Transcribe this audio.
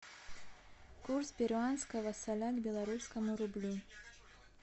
курс перуанского соля к белорусскому рублю